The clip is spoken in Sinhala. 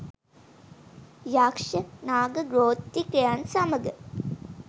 යක්‍ෂ, නාග ගෝත්‍රිකයන් සමඟ